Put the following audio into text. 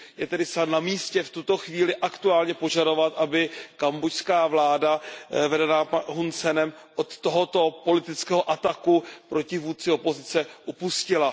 Je tedy snad na místě v tuto chvíli aktuálně požadovat, aby kambodžská vláda vedená Hunem Senem od tohoto politického ataku proti vůdci opozice upustila.